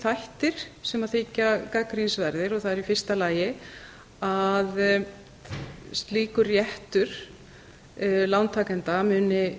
þættir sem þykja gagnrýnisverðir og það er í fyrsta lagi að slíkur réttur lántakenda muni